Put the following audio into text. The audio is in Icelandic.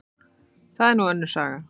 Það er nú önnur saga.